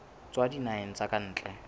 tswa dinaheng tsa ka ntle